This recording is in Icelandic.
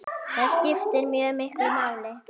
Það skiptir mjög miklu máli.